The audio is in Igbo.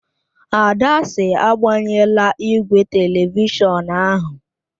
Ada sị, agbanyela igwe telivishọn ahụ!